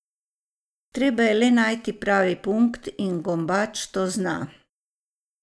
Treba je le najti pravi punkt in Gombač to zna.